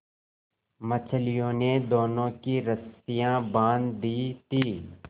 मछलियों ने दोनों की रस्सियाँ बाँध दी थीं